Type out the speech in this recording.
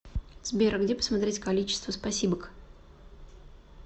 сбер где посмотреть количество спасибок